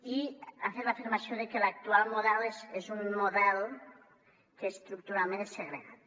i ha fet l’afirmació de que l’actual model és un model que estructuralment és segregat